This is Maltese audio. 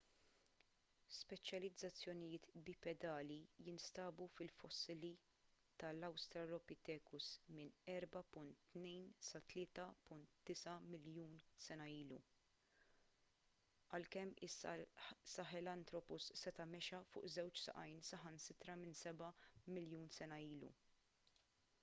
speċjalizzazzjonijiet bipedali jinstabu fil-fossili tal-australopithecus minn 4.2 sa 3.9 miljun sena ilu għalkemm is-sahelanthropus seta' mexa fuq żewġ saqajn saħansitra minn seba' miljun sena ilu